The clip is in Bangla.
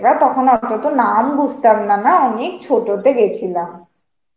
এবার তখন অত তো নাম বুঝতাম না না অনেক ছোট তে গিয়েছিলাম.